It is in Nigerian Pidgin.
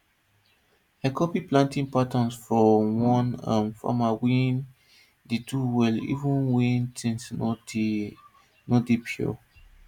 i copy planting patterns from one um farmer wey dey do well even wen tins no dey no dey pure